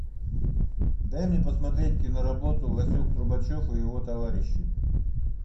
дай мне посмотреть киноработу васек трубачев и его товарищи